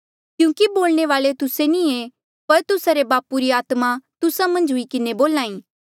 क्यूंकि बोलणे वाल्ऐ तुस्से नी ऐें पर तुस्सा रे बापू री आत्मा तुस्सा मन्झ हुई किन्हें बोल्हा ई